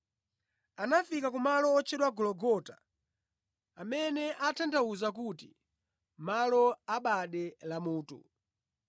Anafika ku malo wotchedwa Gologota amene atanthauza kuti malo a bade la mutu.